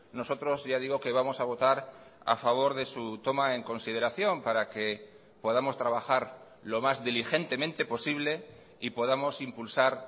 nosotros ya digo que vamos a votar a favor de su toma en consideración para que podamos trabajar lo más diligentemente posible y podamos impulsar